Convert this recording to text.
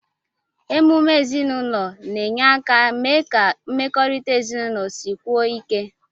Emume ezinụlọ na-enye aka mee ka mmekọrịta ezinụlọ sikwuo ike.